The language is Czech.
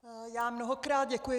Já mnohokrát děkuji.